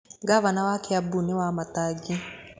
Ngabana wa Kiambu nĩ Wamatangi.